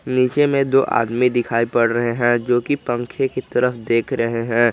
नीचे में दो आदमी दिखाई पड़ रहे हैं जो कि पंखे की तरफ देख रहे हैं।